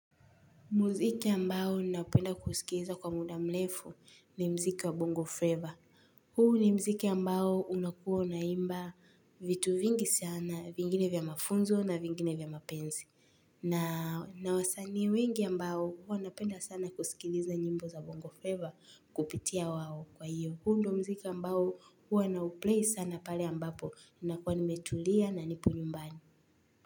Muziki ambao napenda kusikiliza kwa muda mrefu ni muziki wa bongo Flava. Huu ni muziki ambao unakuwa unaimba vitu vingi sana vingine vya mafunzo na vingine vya mapenzi. Na wasanii wengi ambao huwa napenda sana kusikiliza nyimbo za bongo Flava kupitia wao kwa hiyo. Huu ndio muziki ambao huwa nauplay sana pale ambapo ninakuwa nimetulia na nipo nyumbani.